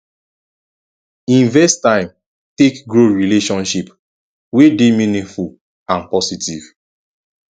invest time take grow relationship wey dey meaningful and positive